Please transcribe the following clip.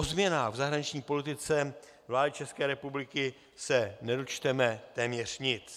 O změnách v zahraniční politice vlády České republiky se nedočteme téměř nic.